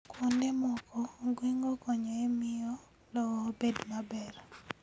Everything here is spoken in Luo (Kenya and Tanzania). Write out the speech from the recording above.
Kuonde moko, ong'weng'o konyo e miyo lowo obed maber.